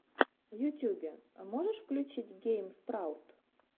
в ютьюбе можешь включить гейм спраут